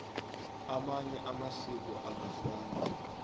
amanye amasiko akafani